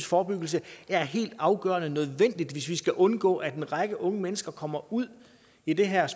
forebyggelse er helt afgørende nødvendigt hvis vi skal undgå at en række unge mennesker kommer ud i den her